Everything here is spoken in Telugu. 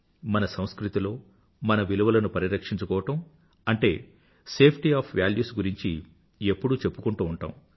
మన సంస్కృతిలో మన విలువలను పరిరక్షించుకోవడం అంటే సేఫ్టీ ఒఎఫ్ వాల్యూస్ గురించి ఎప్పుడూ చెప్పుకుంటూ ఉంటాము